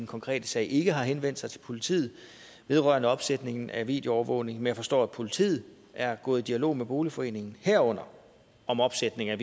konkrete sag ikke har henvendt sig til politiet vedrørende opsætning af videoovervågning men jeg forstår at politiet er gået i dialog med boligforeningen herunder om opsætning af